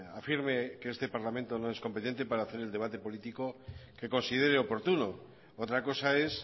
afirme que este parlamento no es competente para hacer el debate político que considere oportuno otra cosa es